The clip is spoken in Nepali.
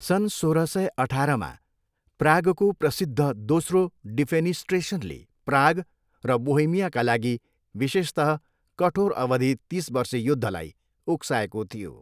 सन् सोह्र सय अठारमा, प्रागको प्रसिद्ध दोस्रो डिफेनिस्ट्रेसनले प्राग र बोहेमियाका लागि विशेषतः कठोर अवधि तिस वर्षे युद्धलाई उक्साएको थियो।